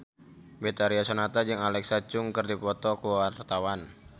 Betharia Sonata jeung Alexa Chung keur dipoto ku wartawan